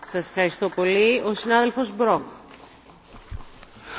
Frau Präsidentin, Frau Vizepräsidentin, Herr Kommissar, Kolleginnen und Kollegen!